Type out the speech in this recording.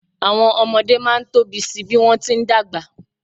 Àwọn ọmọdé máa ń tóbi si bí wọ́n ti ń dàgbà.